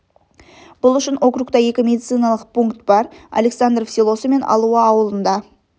бұл үшін округта екі медициналық пункт бар александров селосы мен алуа ауылында